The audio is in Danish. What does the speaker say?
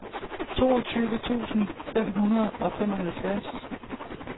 toogtyve tusind fem hundrede og femoghalvtreds